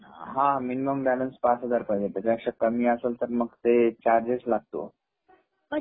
हा minimum balance पाच हजार पाहिजे त्याच्या पेक्षा कमी असेल तर मग ते चार्गेस लागतो.